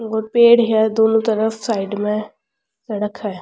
और पेड़ है दोनों तरफ साइड में सड़क है।